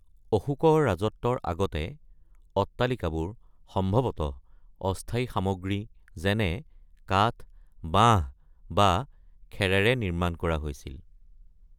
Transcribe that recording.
অশোকৰ ৰাজত্বৰ আগতে, অট্টালিকাবোৰ সম্ভৱতঃ অস্থায়ী সামগ্ৰী, যেনে কাঠ, বাঁহ বা খেৰেৰে নিৰ্মাণ কৰা হৈছিল।